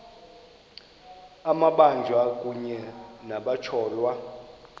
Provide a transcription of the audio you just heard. amabanjwa kunye nabatyholwa